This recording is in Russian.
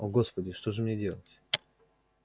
о господи что же мне делать